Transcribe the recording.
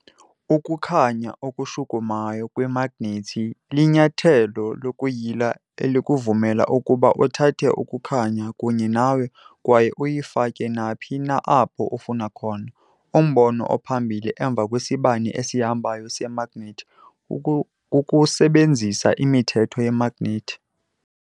Ukukhanya okushukumayo kwemagnethi linyathelo lokuyila elikuvumela ukuba uthathe ukukhanya kunye nawe kwaye uyifake naphi na apho ufuna khona. Umbono ophambili emva kwesibane esihambayo semagnethi kukusebenzisa imithetho yemagnethi.